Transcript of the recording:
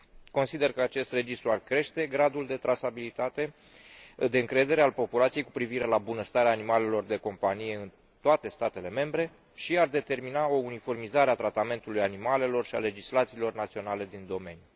Consider că acest registru ar crește gradul de trasabilitate, de încredere al populației cu privire la bunăstarea animalelor de companie în toate statele membre și ar determina o uniformizare a tratamentului animalelor și a legislațiilor naționale din domeniu.